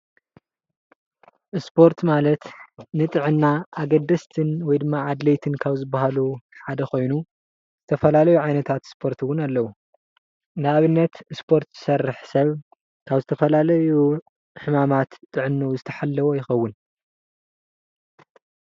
ስፖርት ማለት ንጥዐና አገዳሲ ወይ ድማ አድለይቲ ካብ ዝባሃሉ ሓደ ኮይኑ ዝተፈላለዩ ዓይነታት ስፖርት እውን አለዉ ንአብነት ስፖርት ዝሰርሕ ሰብ ካብ ዝተፈላለዩ ሕማማት ጥዐነኡ ዝተሓለወ ይኾውን።